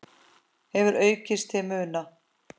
hefur aukist til muna.